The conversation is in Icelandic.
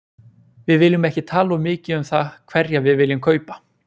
Við viljum ekki tala of mikið um það hverja við viljum kaupa.